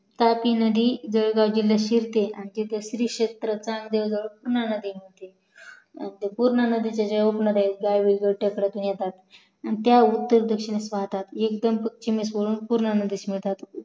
तापी नदी जळगाव जिल्ह्यात शिरते आणि तिथे श्री क्षेत्र चांग देव जवळ पुन्हा मिळते पूर्णा नदीच्या ज्या उपनद्या आहेत आणि त्या उत्तर दक्षिणेस वाहतात एकदम पश्चिमेस जाऊन पूर्णा नदिस मिळतात